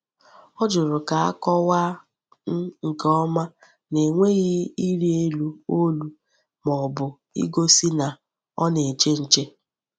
Ọ jụrụ ka a kọwaa um nke ọma na-enweghị ịrị elu olu ma ọ bụ igosi na ọ na-eche nche.